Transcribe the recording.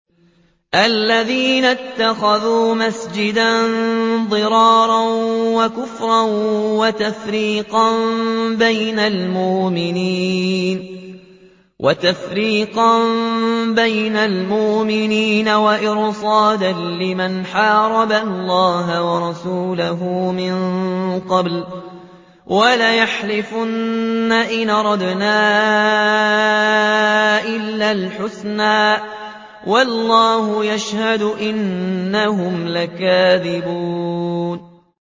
وَالَّذِينَ اتَّخَذُوا مَسْجِدًا ضِرَارًا وَكُفْرًا وَتَفْرِيقًا بَيْنَ الْمُؤْمِنِينَ وَإِرْصَادًا لِّمَنْ حَارَبَ اللَّهَ وَرَسُولَهُ مِن قَبْلُ ۚ وَلَيَحْلِفُنَّ إِنْ أَرَدْنَا إِلَّا الْحُسْنَىٰ ۖ وَاللَّهُ يَشْهَدُ إِنَّهُمْ لَكَاذِبُونَ